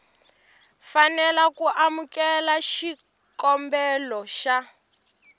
fanela ku amukela xikombelo xa